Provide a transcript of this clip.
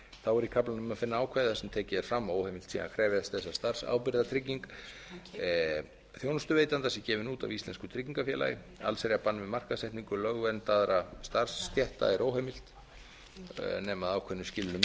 þá er í kaflanum að finna ákvæði þar sem tekið er fram að óheimilt sé að krefjast þess að starfsábyrgðartrygging þjónustuveitanda sé gefin út af íslensku tryggingafélagi allsherjarbann við markaðssetningu lögverndaðra starfsstétta er óheimil nema að ákveðnum skilyrðum